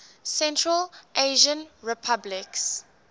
central asian republics